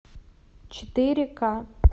четыре ка